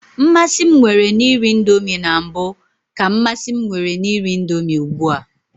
Mmasị m nwere na iri indomi na mbụ ka mmasị m nwere na iri indomi ugbua.